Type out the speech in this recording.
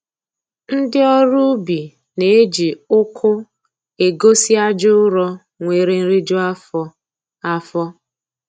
Ndị ọrụ ubi na-eji uku egosi aja ụrọ nwere nriju afọ afọ